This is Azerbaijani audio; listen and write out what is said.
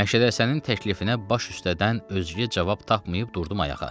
Məşədi Həsənin təklifinə baş üstədən özgə cavab tapmayıb durdum ayağa.